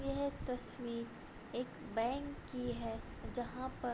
यह तस्वीर एक बैंक की है जहाँ पर --